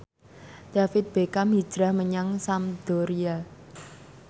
David Beckham hijrah menyang Sampdoria